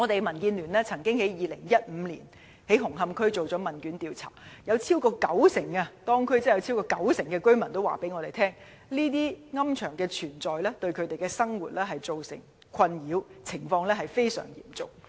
民主建港協進聯盟曾在2015年在紅磡區進行問卷調查，當中有超過九成居民表示，私營龕場的存在對他們的生活造成困擾，而且情況非常嚴重。